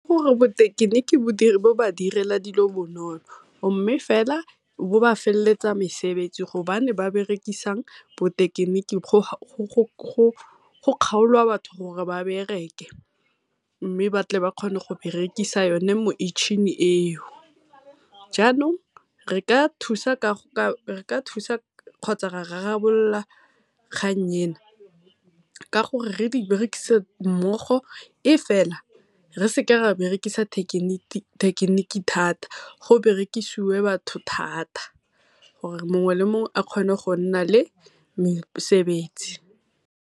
bo thekeniki bo ba direla dilo bonolo, mme fela bo ba felletsa mesebetsi go bane ba berekisa bothekeniki go Kgaolwa batho gore ba bereke. Mme ba tle ba kgone go berekisa yone metšhini eo. Jaanong re ka thusa kgotsa ra rarabolola kgang ena ka gore re di berekise mmogo e fela re se ke ra berekisa thekeniki thata go berekisiwe batho thata, gore mongwe le mongwe a kgone go nna le mesebetsi.